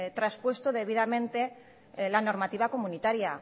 transpuesto debidamente la normativa comunitaria